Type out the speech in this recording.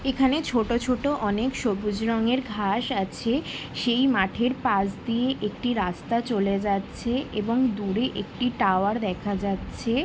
এখানে ছোট ছোট অনেক সবুজ রঙের ঘাস আছে সেই মাঠের পাশ দিয়ে একটি রাস্তা চলে যাচ্ছে এবং দূরে একটি টাওয়ার দেখা যাচ্ছে-এ।